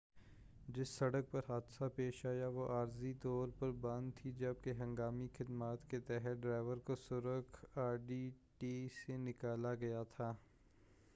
جس سڑک پر حادثہ پیش آیا وہ عارضی طور پر بند تھی جب کہ ہنگامی خدمات کے تحت ڈرائیور کو سرخ آڈی ٹی ٹی سے نکالا گیا تھا